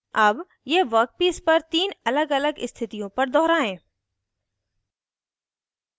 अब यह वर्कपीस पर तीन अलगअलग स्थितियों पर दोहराएं